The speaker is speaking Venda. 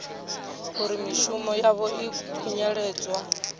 uri mishumo yavho i khunyeledzwa